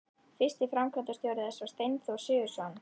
Fyrsti framkvæmdastjóri þess var Steinþór Sigurðsson.